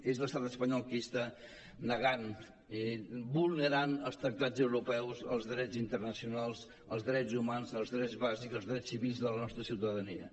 és l’estat espanyol qui està negant i vulnerant els tractats europeus els drets internacionals els drets humans els drets bàsics els drets civils de la nostra ciutadania